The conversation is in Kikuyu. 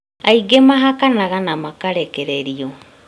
Aingĩ mahakanaga na makarekeririo